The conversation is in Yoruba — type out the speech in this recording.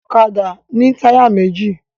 Ọ̀kadà ní táyà méjì